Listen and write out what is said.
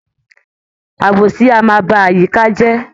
Àbòsí a máa ba àyíká je